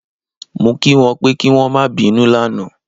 Mo kí wọn pé kí wọn ó má bínú lánàá